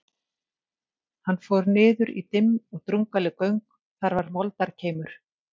Hann fór niður í dimm og drungaleg göng, þar var moldarkeimur.